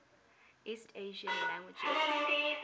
east asian languages